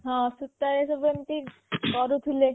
ହଁ ସୁତା ରେ ସବୁ ଏମିତି କରୁଥିଲେ